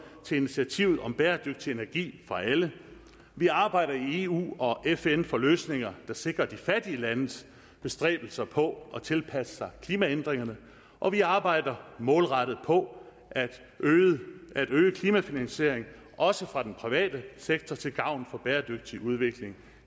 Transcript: til initiativet om bæredygtig energi for alle vi arbejder i eu og fn for løsninger der sikrer de fattige landes bestræbelser på at tilpasse sig klimaændringerne og vi arbejder målrettet på at øge at øge klimafinansieringen også fra den private sektor til gavn for bæredygtig udvikling